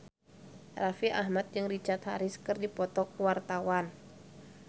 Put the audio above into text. Raffi Ahmad jeung Richard Harris keur dipoto ku wartawan